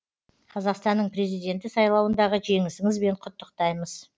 қазақстанның президенті сайлауындағы жеңісіңізбен құттықтаймыз